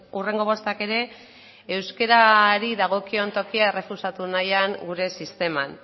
hurrengo bostak ere euskarari dagokion tokia errefusatu nahian gure sisteman